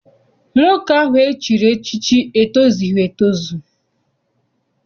Nwoke ahụ e chiri echichi etozughi etozu.